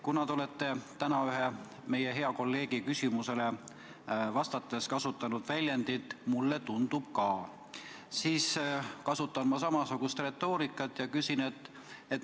Kuna te olete täna ühe meie hea kolleegi küsimusele vastates kasutanud väljendit "mulle tundub ka", siis kasutan ma samasugust retoorikat ja küsin nii.